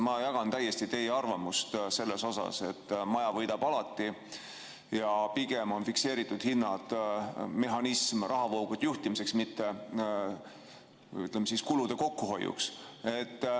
Ma jagan täiesti teie arvamust, et maja võidab alati ja pigem on fikseeritud hinnad mehhanism rahavoogude juhtimiseks, või ütleme, kulude kokkuhoiuks.